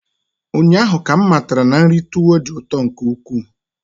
Ụnyaahụ ka m matara na nri tuwo dị ụtọ nke ukwuu.